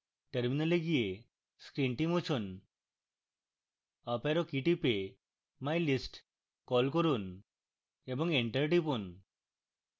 terminal গিয়ে screen মুছুন up arrow key টিপে mylist key করুন এবং enter টিপুন